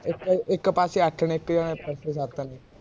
ਇਕ ਇਕ ਪਾਸੇ ਅੱਠ ਨੇ ਇਕ ਪਾਸੇ ਸੱਤ